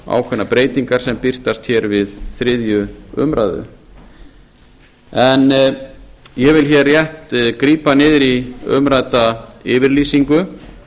ákveðnar breytingar sem birtast hér við þriðju umræðu en ég vil hér rétt grípa niður í umrædda yfirlýsingu